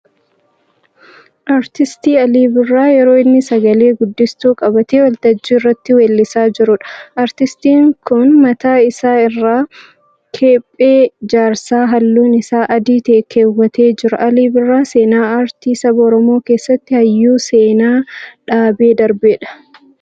Aartisti Alii Birraa yeroo inni sagalee guddistuu qabatee waltajjii irratti weellisaa jiruudha. Aartistiin kun mataa isaa irraa kephee jaarsaa halluun isaa adii ta'e kaawwatee jira. Alii Birraa seenaa aartii saba Oromoo keessatti hayyuu seenaa dhaabee darbeedha.